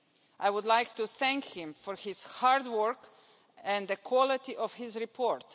I would like to thank him for his hard work and the quality of his report.